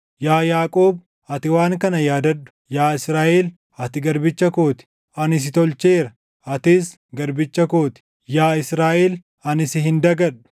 “Yaa Yaaqoob, ati waan kana yaadadhu; yaa Israaʼel, ati garbicha koo ti. Ani si tolcheera; atis garbicha koo ti; yaa Israaʼel, ani si hin dagadhu.